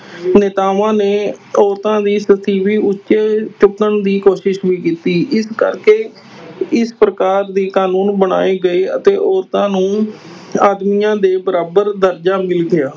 ਨੇਤਾਵਾਂ ਨੇ ਔਰਤਾਂ ਦੀ ਉੱਚ ਚੁੱਕਣ ਦੀ ਕੋਸ਼ਿਸ਼ ਵੀ ਕੀਤੀ, ਇਸ ਕਰਕੇ ਇਸ ਪ੍ਰਕਾਰ ਦੇ ਕਾਨੂੰਨ ਬਣਾਏ ਗਏ ਅਤੇ ਔਰਤਾਂ ਨੂੰ ਆਦਮੀਆਂ ਦੇ ਬਰਾਬਰ ਦਰਜਾ ਮਿਲ ਗਿਆ।